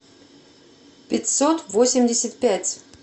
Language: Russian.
пятьсот восемьдесят пять